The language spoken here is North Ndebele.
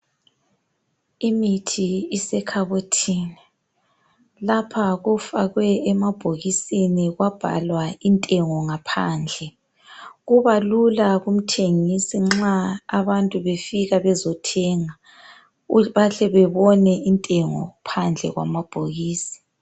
Imithi isekhabothini. Lapha kufakwe emabhokisini kwabhalwa intengo ngaphandle. Kubalula kumthengisi nxa abantu befika bezothenga bahle babone intengo phandle kwamabhokisi.